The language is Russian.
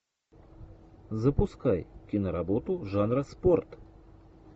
запускай киноработу жанра спорт